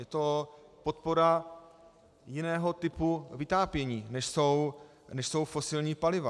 Je to podpora jiného typu vytápění, než jsou fosilní paliva.